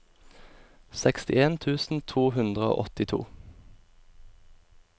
sekstien tusen to hundre og åttito